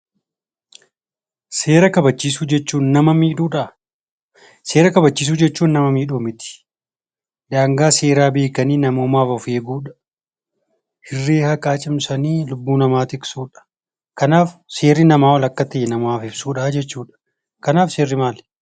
Seera kabachiisuu jechuun nama miidhuudhaa? Seera kabachiisuu jechuun nama miidhuu miti. Daangaa seeraa beekanii namoomaaf of eeguudha; irree haqaa cimsanii lubbuu namaa tiksuudha. Kanaaf seerri namaa ol akka ta'e namaaf ibsuudha jechuudha. Kanaaf seerri maali?